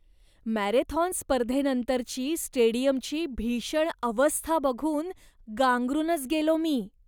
Marathon स्पर्धेनंतरची स्टेडियमची भीषण अवस्था बघून गांगरूनच गेलो मी.